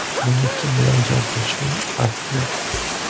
Menga kim bilan jang qilishning farqi yo‘q.